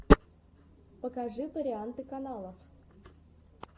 покажи варианты каналов